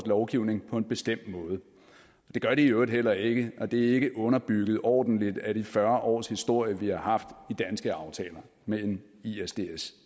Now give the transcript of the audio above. lovgivning på en bestemt måde det gør de i øvrigt heller ikke og det er ikke underbygget ordentligt af de fyrre års historie vi har haft i danske aftaler med en isds